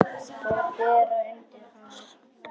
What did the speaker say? Og bera undir hana.